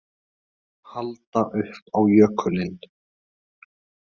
Halda upp á jökulinn